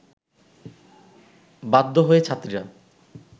বাধ্য হয়ে ছাত্রীরা